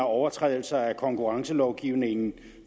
overtrædelser af konkurrencelovgivningen